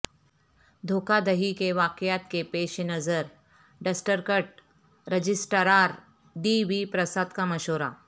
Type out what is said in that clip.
دھوکہ دہی کے واقعات کے پیش نظر district registrar D V Prasad کا مشورہ